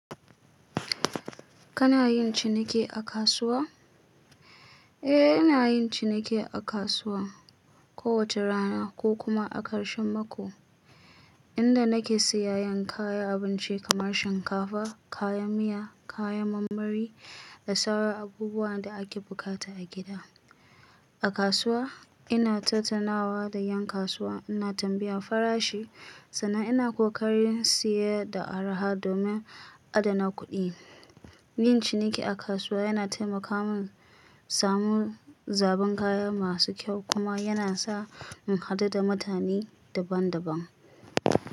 Kana yin ciniki a kasuwa? Eh, ina yin ciniki a kasuwa kowace rana ko kuma a karshen mako, inda nake siyayen kayan abinci kamar shinkafa, kayan miya, kayan marmari da sauran abubuwan da ake bukata a gida. A kasuwa, ina tattaunawa da 'yan kasuwa, ina tambayar farashi sannan ina kokarin siye da araha domin adana kuɗi. Yin ciniki a kasuwa yana taimaka min samu zaɓin kaya masu kyau kuma yana sa in haɗu da mutane daban-daban.